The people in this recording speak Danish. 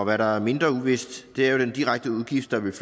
hvad der er mindre uvist er jo den direkte udgift der vil